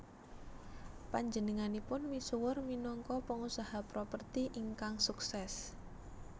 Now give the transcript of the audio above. Panjenenganipun misuwur minangka pengusaha properti ingkang sukses